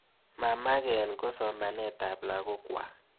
Ma maken ko somanet ap lagok kwak.